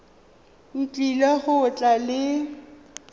o tlile go tla le